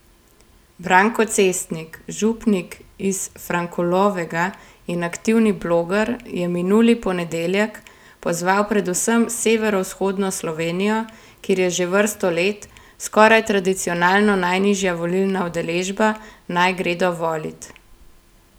Branko Cestnik, župnik iz Frankolovega in aktivni bloger, je minuli ponedeljek pozval predvsem severovzhodno Slovenijo, kjer je že vrsto let, skoraj tradicionalno najnižja volilna udeležba, naj gredo volit.